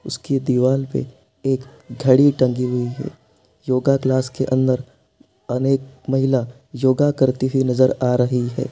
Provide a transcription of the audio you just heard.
उसकी दीवाल पर एक घड़ी टंगी हुई है| योगा क्लास के अंदर अनेक महिला योगा करते हुए नजर आ रही है।